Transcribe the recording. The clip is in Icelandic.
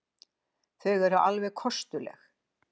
Þau eru alveg kostuleg.